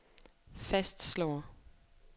fastslår